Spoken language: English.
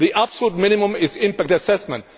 The absolute minimum is impact assessment.